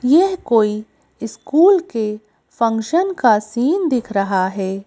यह कोई स्कूल के फंक्शन का सीन दिख रहा है।